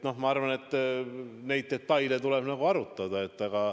Ma arvan, et neid detaile tuleb arutada.